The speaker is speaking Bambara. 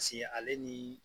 ale ni